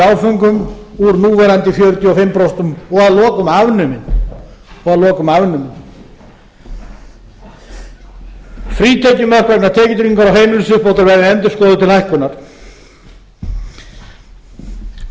áföngum úr núverandi fjörutíu og fimm prósent og að lokum afnumin frítekjumörk vegna tekjutryggingar og heimilisuppbótar verði endurskoðuð til hækkunar guð